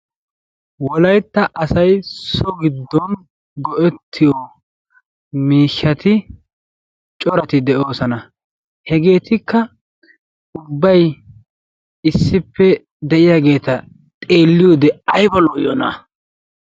Wolaytta asay soo giddon go"ettiyo miishshati corati de'oosona. Hegetikka ubbay issippe de'iyaageeta xeelliyoode aybba lo''iyoona.